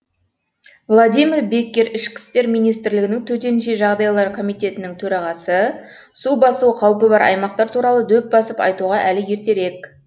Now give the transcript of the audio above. владимир беккер ішкі істер министрлігі төтенше жағдайлар комитетінің төрағасы су басу қаупі бар аймақтар туралы дөп басып айтуға әлі ертерек